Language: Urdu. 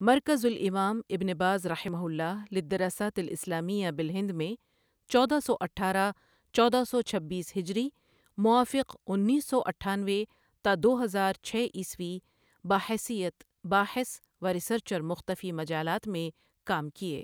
مركزالإمام ابن باز رحمه الله للدراسات الإسلامية بالهند میں چودہ سو اٹھارہ چودہ سو چھبیس ھ موافق اُنیس سو اٹھانوے تا دو ہزار چھ عیسویں بحیثیت باحث وریسرچرمختفی مجالات میں کام کئی۔